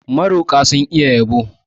Maroƙa sun iya yabo.